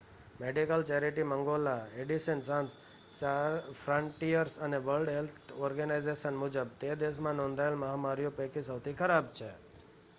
medical charity મંગોલા Medecins Sans Frontieres અને World Health Organization મુજબ તે દેશમાં નોંધાયેલ મહામારીઓ પૈકી સૌથી ખરાબ છે